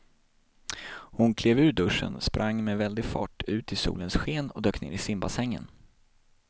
Hon klev ur duschen, sprang med väldig fart ut i solens sken och dök ner i simbassängen.